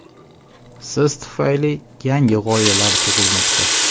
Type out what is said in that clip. siz tufayli yangi g‘oyalar tug‘ilmoqda.